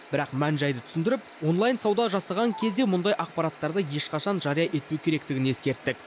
бірақ мән жайды түсіндіріп онлайн сауда жасаған кезде мұндай ақпараттарды ешқашан жария етпеу керектігін ескерттік